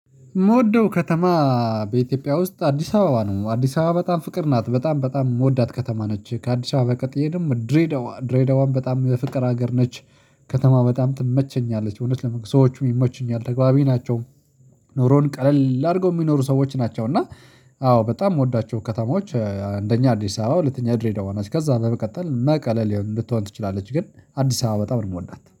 ምወደው ከተማ በኢትዮጵያ ውስጥ አዲስ አበባ ነው አዲስ አበባ በጣም ፍቅር ናት በጣም በጣም የምወዳት ከተማ ነች። ከአዲስ አበባ ቀጥዬ ደግሞ ድሬዳዋ ድሬዳዋን በጣም የፍቅር ሀገር ነች ከተማ በጣም ትመቸኛለች እውነት ለመናገር ሰዎቹም ይመቹኛል ተጋበብ ናቸው። ኑሮን ቀለል አድርገው የሚኖሩ ሰዎች ናቸው እና አዎ በጣም የምወዳቸው ከተማዎች አንደኛ አዲስ አበባ ሁለተኛያ ድሬዳዋ ነች። ከዝያ በመቀጠል መቀሌ ልትሆን ትችላለች። ግን አዲስ አበባ በጣም ነው የምወዳት